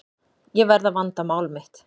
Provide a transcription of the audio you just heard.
Ég verð að vanda mál mitt.